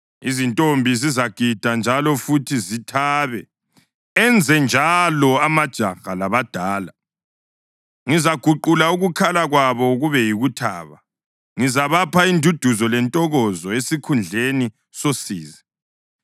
Izintombi zizagida njalo futhi zithabe, enzenjalo amajaha labadala. Ngizaguqula ukukhala kwabo kube yikuthaba; ngizabapha induduzo lentokozo esikhundleni sosizi.